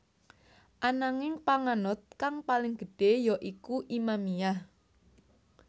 Ananging panganut kang paling gedhé ya iku Imamiyah